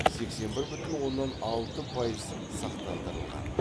сексен бір бутін оннан алты пайыз сақтандырылған